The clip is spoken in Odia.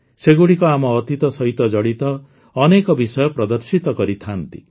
ସେଗୁଡିକ ଆମ ଅତୀତ ସହିତ ଜଡ଼ିତ ଅନେକ ବିଷୟ ପ୍ରଦର୍ଶିତ କରିଥାଆନ୍ତି